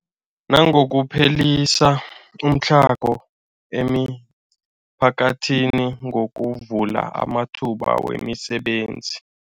Nangokuphelisa umtlhago emiphakathini ngokuvula amathuba wemisebenzi.